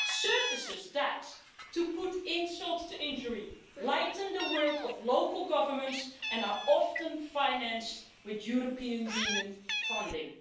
These are services that to add insult to injury lighten the work of local governments and are often financed through European Union funding.